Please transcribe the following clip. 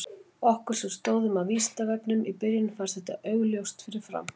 Okkur sem stóðum að Vísindavefnum í byrjun fannst þetta ekki augljóst fyrir fram.